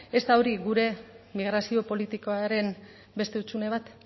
ez da hori gure migrazio politikaren beste hutsune bat